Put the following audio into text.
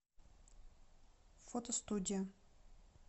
фотостудия